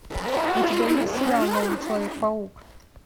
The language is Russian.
у тебя есть сериал новый человек паук